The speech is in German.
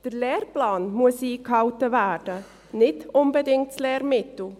Der Lehrplan muss eingehalten werden, nicht unbedingt das Lehrmittel.